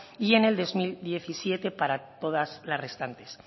y en el dos mil diecisiete para todas las restantes